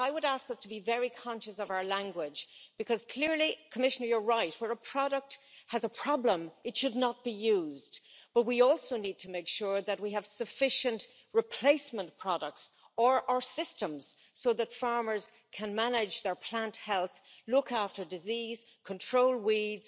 So I would ask us to be very conscious of our language because clearly, Commissioner, you are right where a product has a problem it should not be used, but we also need to make sure that we have sufficient replacement products or systems so that farmers can manage their plant health, look after diseases and control weeds,